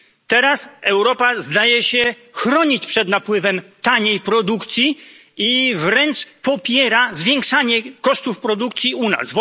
Teraz Europa zdaje się chronić przed napływem taniej produkcji i wręcz popiera zwiększanie kosztów produkcji u nas.